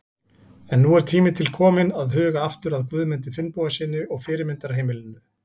En nú er tími til kominn til að huga aftur að Guðmundi Finnbogasyni og fyrirmyndarheimilinu.